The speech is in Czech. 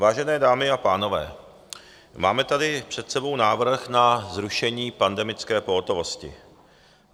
Vážené dámy a pánové, máme tady před sebou návrh na zrušení pandemické pohotovosti.